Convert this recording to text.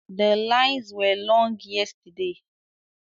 The lines were long yesterday